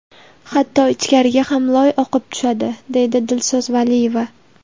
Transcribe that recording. Hatto ichkariga ham loy oqib tushadi, deydi Dilso‘z Valiyeva.